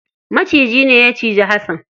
Macijine ne ya cinji hasan.